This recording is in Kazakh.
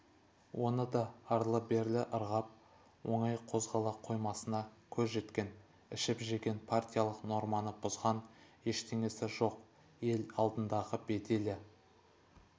оны да арлы-берлі ырғап оңай қозғала қоймасына көз жеткен ішіп-жеген партиялық норманы бұзған ештеңесі жоқ ел алдындағы беделі